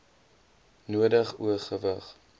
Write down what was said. nodig o gewig